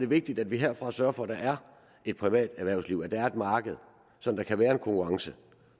vigtigt at vi herfra sørger for at der er et privat erhvervsliv at der er et marked så der kan være en konkurrence